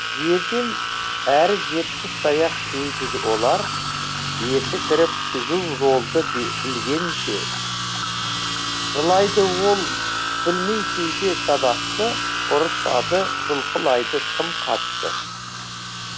жерден әрі жетпіс таяқ жейді олар есі кіріп түзу жолды білгенше жылайды ол білмей кейде сабақты ұрысады жұлқылайды тым қатты